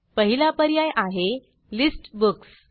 पहिला पर्याय आहे लिस्ट बुक्स